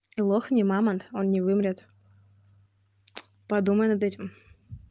лох не мамонт он не вымрет подумай над этим